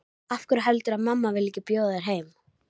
Af hverju heldurðu að mamma vilji ekki bjóða þér heim?